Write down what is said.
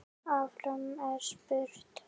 Áfram er spurt.